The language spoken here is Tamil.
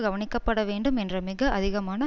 கவனிக்கப்படவேண்டும் என்ற மிக அதிகமான